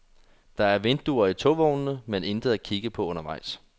Der er vinduer i togvognene, men intet at kigge på undervejs.